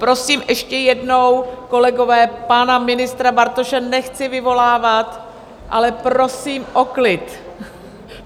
Prosím ještě jednou, kolegové - pana ministra Bartoše nechci vyvolávat - ale prosím o klid.